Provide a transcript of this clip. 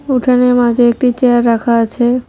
উঠানের মাঝে একটি চেয়ার রাখা আছে।